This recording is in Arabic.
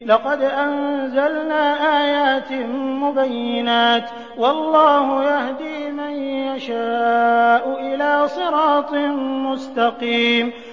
لَّقَدْ أَنزَلْنَا آيَاتٍ مُّبَيِّنَاتٍ ۚ وَاللَّهُ يَهْدِي مَن يَشَاءُ إِلَىٰ صِرَاطٍ مُّسْتَقِيمٍ